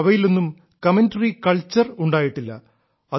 പക്ഷേ അവയിലൊന്നും commentary culture ഉണ്ടായിട്ടില്ല